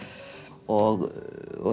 og